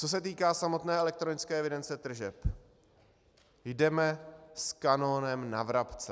Co se týká samotné elektronické evidence tržeb, jdeme s kanonem na vrabce.